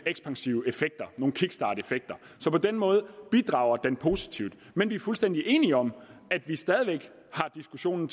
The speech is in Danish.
ekspansive effekter nogle kickstarteffekter på den måde bidrager den positivt men vi er fuldstændig enige om at vi stadig væk har diskussionen